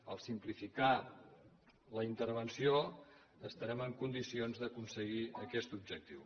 en simplificar la intervenció estarem en condicions d’aconseguir aquest objectiu